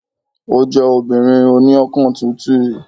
Ó jẹ́ obìnrin oní ọkàn tútù